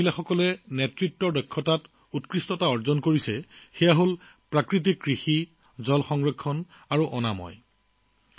মহিলাসকলে নিজৰ নেতৃত্বৰ সম্ভাৱনা প্ৰদৰ্শন কৰা আন এটা ক্ষেত্ৰ হৈছে প্ৰাকৃতিক কৃষি জল সংৰক্ষণ আৰু স্বচ্ছতা